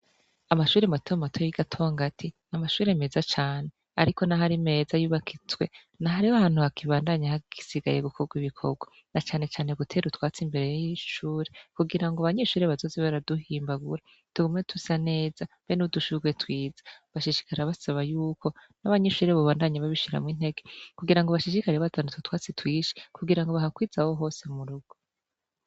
Amashuri matema mato y'i gatonga ati ni amashuri meza cane, ariko na ho ari meza yubakitzwe na hariho hantu hakibandanya ahagisigaye gukorwa ibikorwa na canecane gutera utwatsi imbere y'ishure kugira ngo banyishure bazozi baraduhimbagura tugume tusa neza be n'udushurwe twiza bashishikara basaba yuko n'abanyishure bubandanyi babie shiramo inteke kugira ngo bashishikarire batandutwe twatsi twishi kugira ngo bahakwiza ho hose murugo.